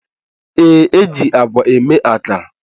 Yes, e ji àgwà eme akara